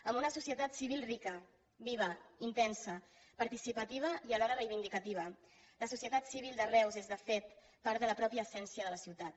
amb una societat civil viva rica intensa participativa i alhora reivindicativa la societat civil de reus és de fet part de la mateixa essència de la ciutat